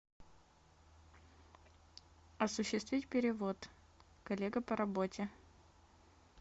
осуществить перевод коллега по работе